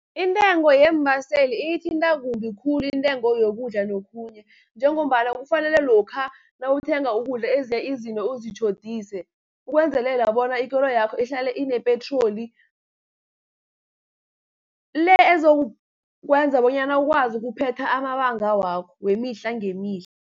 Intengo yeembaseli iyithinta kumbi khulu intengo yokudla nokhunye, njengombana kufanele lokha nawuthenga ukudla ezinye izinto uzitjhodise, ukwenzelela bona ikoloyakho ihlale inepetroli, le ezokwenza bonyana ukwazi ukuphetha amabanga wakho wemihla ngemihla.